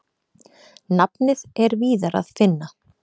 Nafnið er víðar að finna.